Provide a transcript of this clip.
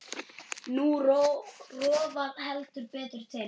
Nú rofar heldur betur til.